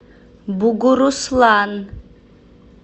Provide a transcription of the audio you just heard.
бугуруслан